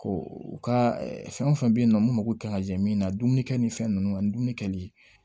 u ka fɛn o fɛn bɛ yen nɔ mun mako kan ka jɛ min na dumunikɛ ni fɛn ninnu ani dumuni kɛli